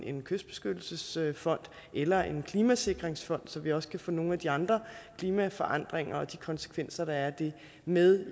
en kystbeskyttelsesfond eller en klimasikringsfond så vi også kan få nogle af de andre klimaforandringer og de konsekvenser der er af dem med